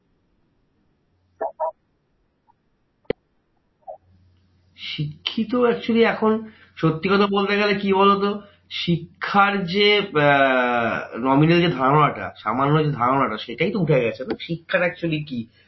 শিক্ষিত actually এখন, সত্যি কথা বলতে গেলে কি বলতো? শিক্ষার যে আহ nominal যে ধারণাটা সামান্য যে ধারণাটা, সেটাই তো উঠে গেছে। শিক্ষাটা actually কি?